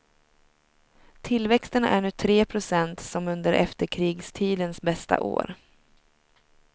Tillväxten är nu tre procent, som under efterkrigstidens bästa år.